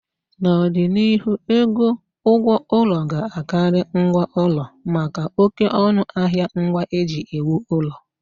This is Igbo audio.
N'ọdịnihu, ego ụgwọ ụlọ ga-Akari ngwa ụlọ maka oké ọnụ ahịa ngwa e ji ewu ụlọ